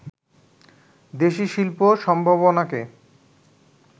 দেশি শিল্প সম্ভাবনাকে